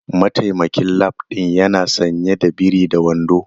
Mataimakin lab din yana sanye da biri da wando.